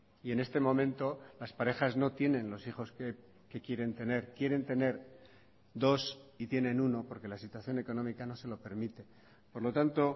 y en este momento las parejas no tienen los hijos que quieren tener quieren tener dos y tienen uno porque la situación económica no se lo permite por lo tanto